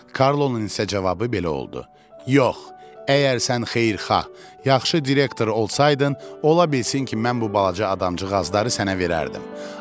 Karlonun isə cavabı belə oldu: Yox, əgər sən xeyirxah, yaxşı direktor olsaydın, ola bilsin ki, mən bu balaca adamcıqları sənə verərdim.